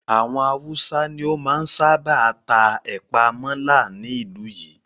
Àwọn Haúsá ni ó máa ń sábà ta ẹ̀pàa mọ́là ní ìlú yìí.